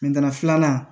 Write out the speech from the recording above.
filanan